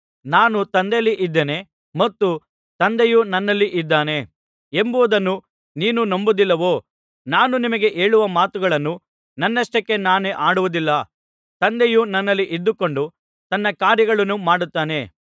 ನಾನು ತಂದೆಯಲ್ಲಿ ಇದ್ದೇನೆ ಮತ್ತು ತಂದೆಯು ನನ್ನಲ್ಲಿ ಇದ್ದಾನೆ ಎಂಬುದನ್ನು ನೀನು ನಂಬುವುದಿಲ್ಲವೋ ನಾನು ನಿಮಗೆ ಹೇಳುವ ಮಾತುಗಳನ್ನು ನನ್ನಷ್ಟಕ್ಕೆ ನಾನೇ ಆಡುವುದಿಲ್ಲ ತಂದೆಯು ನನ್ನಲ್ಲಿ ಇದ್ದುಕೊಂಡು ತನ್ನ ಕಾರ್ಯಗಳನ್ನು ಮಾಡುತ್ತಾನೆ